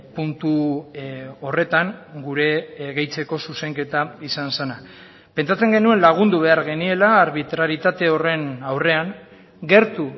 puntu horretan gure gehitzeko zuzenketa izan zena pentsatzen genuen lagundu behar geniela arbitraritate horren aurrean gertu